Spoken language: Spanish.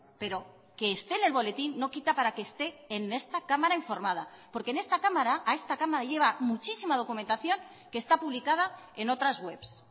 pero que esté en el boletín no quita para que esté en esta cámara informada porque en esta cámara a esta cámara lleva muchísima documentación que está publicada en otras webs